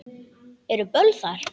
Eru böll þar?